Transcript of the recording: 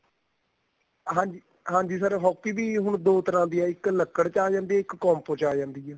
ਹਾਂਜੀ ਹਾਂਜੀ sir hockey ਵੀ ਦੋ ਤਰ੍ਹਾਂ ਦੀ ਏ ਇੱਕ ਲਕੜ ਚ ਆ ਜਾਂਦੀ ਏ ਇੱਕ compo ਚ ਆ ਜਾਂਦੀ ਏ